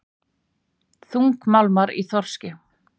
Þungmálmar í þorski